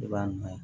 I b'a nɔ ye